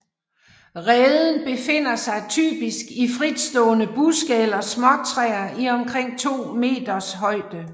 Reden befinder sig typisk i fritstående buske eller småtræer i omkring 2 m højde